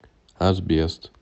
асбест